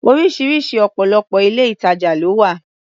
Oríṣiríṣi ọ̀pọ̀lọpọ̀ ilé-ìtajà ló wà